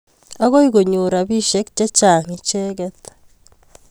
Akoi konyor rapisyek che chang' icheket